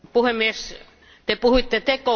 Te puhuitte tekopyhyydestä.